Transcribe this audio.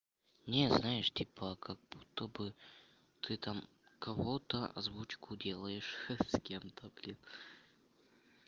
не знаешь типа как будто бы ты там кого-то озвучку делаешь х с кем-то блин